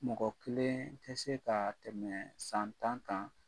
Mɔgɔ kelen tɛ se ka tɛmɛ san tan kan